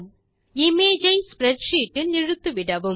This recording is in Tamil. இமேஜ் ஐ ஸ்ப்ரெட்ஷீட் இல் இழுத்துவிடவும்